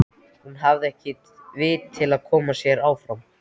Hún hafði ekki vit til að koma sér áfram.